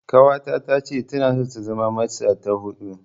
Ƙawata tace tana so ta zama matsa ta huɗu.